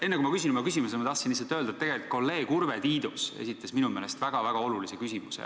Enne kui ma küsin oma küsimuse, ma tahtsin lihtsalt öelda, et kolleeg Urve Tiidus esitas minu meelest väga-väga olulise küsimuse.